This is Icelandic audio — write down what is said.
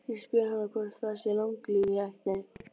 Ég spyr hana hvort það sé langlífi í ættinni.